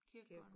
Kirkegården